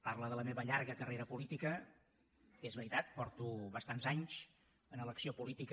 parla de la meva llarga carrera política que és veritat fa bastants anys que sóc en l’acció política